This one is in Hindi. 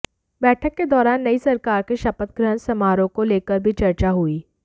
बैठक के दौरान नई सरकार के शपथ ग्रहण समारोह को लेकर भी चर्चा हुई